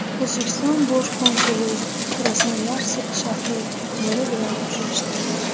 O‘zbekiston bosh konsuli Krasnoyarsk shahri meri bilan uchrashdi.